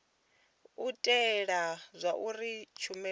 u itela zwauri tshumelo i